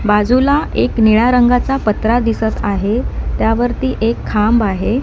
बाजूला एक निळा रंगाचा पत्रा दिसत आहे त्यावरती एक खांब आहे.